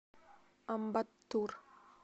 амбаттур